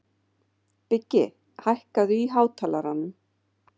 Biggi, hækkaðu í hátalaranum.